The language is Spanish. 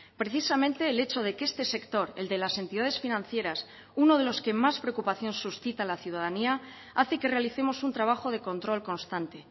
precisamente el hecho de que este sector el de las entidades financieras uno de los que más preocupación suscita a la ciudadanía hace que realicemos un trabajo de control constante